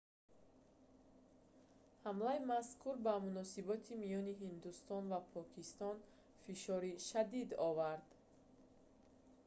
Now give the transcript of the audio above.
ҳамлаи мазкур ба муносиботи миёни ҳиндустон ва покистон фишори шадид овард